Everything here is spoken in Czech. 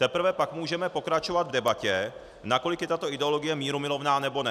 Teprve pak můžeme pokračovat v debatě, nakolik je tato ideologie mírumilovná, nebo ne.